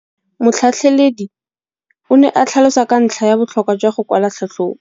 Motlhatlheledi o ne a tlhalosa ka ntlha ya botlhokwa jwa go kwala tlhatlhôbô.